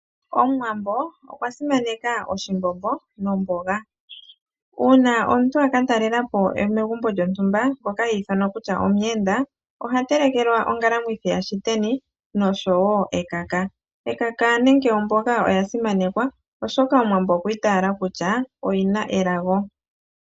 Omuwambo okwa simaneka oshimbombo nomboga. Uuna omuntu a ka talela po megumbo lyontumba, nkoka i thanwa kutya ye omuyenda, oha telekelwa ongalamwithi yashiteni noshowo ekaka. Ekaka nenge omboga oya simanekwa, oshoka Omuwambo okwi itaala kutya oyi na elago.